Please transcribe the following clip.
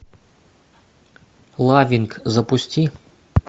лавинг запусти